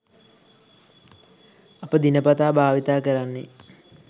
අප දිනපතා භාවිතා කරන්නේ